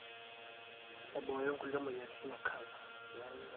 aiboyo inkulie moyaritin ecanser.